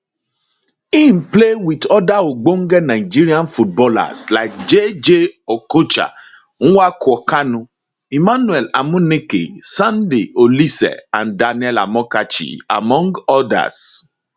im play wit oda ogbonge nigerian footballers like jayjay okocha nwankwo kanu emmanuel amuneke sunday oliseh and daniel amokachi among others